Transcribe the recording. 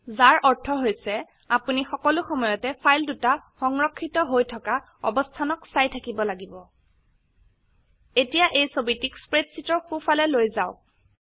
যাৰ অৰ্থ হৈছে আপোনি সকলো সময়তে ফাইল দুটা সংৰক্ষিত হৈ থকা অবস্হানক চাই থাকিব লাগিব এতিয়া এই ছবিটিক স্প্ৰেডশীটৰ সো ফালে লৈ যাওক